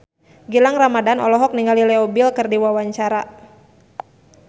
Gilang Ramadan olohok ningali Leo Bill keur diwawancara